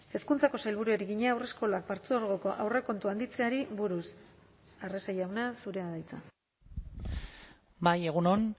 hezkuntzako sailburuari egina haurreskolak partzuergoko aurrekontua handitzeari buruz arrese jauna zurea da hitza bai egun on